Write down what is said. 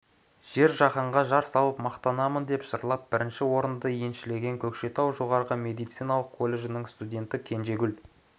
жер жаһанға жар салып мақтанамын деп жырлап бірінші орынды еншілеген көкшетау жоғары медициналық колледжінің студенті кенжегүл